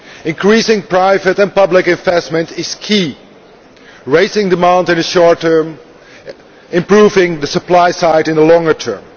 Increasing private and public investment is key raising demand in the short term and improving the supply side in the longer term.